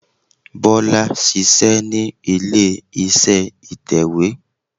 Bólá ṣíṣẹ ní ilé iṣẹ́ ìtẹ̀wé